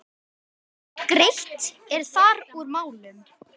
Greitt er þar úr málum.